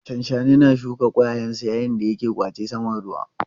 Shanshani na shuka ƙwayayensa yayin da yake ƙwace saman ruwa.